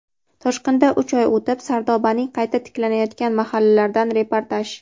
Toshqindan uch oy o‘tib: Sardobaning qayta tiklanayotgan mahallalaridan reportaj.